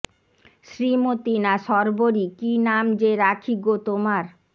শ্রীমতি না শর্বরী কী নাম যে রাখি গো তোমার